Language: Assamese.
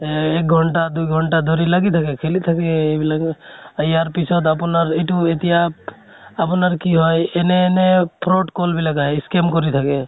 এহ এক ঘন্টা দুই ঘন্টা ধৰি লাগি থাকে, খেলি থাকে এ এইবিলাক। ইয়াৰ পিছত আপোনাৰ ইটো এতিয়া আপোনাৰ কি হয় এনে এনে fraud call বিলাক আহে , scam কৰি থাকে।